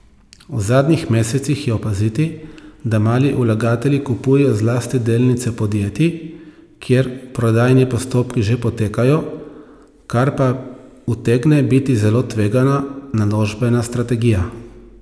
V zadnjih mesecih je opaziti, da mali vlagatelji kupujejo zlasti delnice podjetij, kjer prodajni postopki že potekajo, kar pa utegne biti zelo tvegana naložbena strategija.